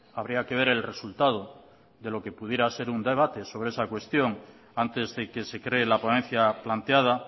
habría que ver el resultado de lo que pudiera ser un debate sobre esa cuestión antes de que se cree la ponencia planteada